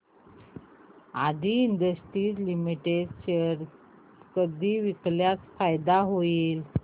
आदी industries limited चे share कधी विकल्यास फायदा होईल